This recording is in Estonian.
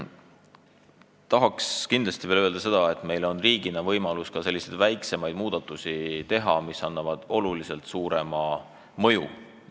Tahan kindlasti öelda seda, et meil on riigina võimalus teha ka väiksemaid muudatusi, millel on oluliselt suurem mõju.